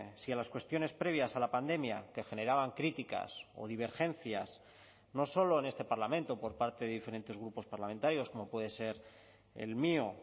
si a las cuestiones previas a la pandemia que generaban críticas o divergencias no solo en este parlamento por parte de diferentes grupos parlamentarios como puede ser el mío